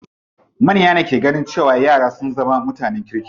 Manya ne ke ganin cewa yara sun zama mutanen kirki.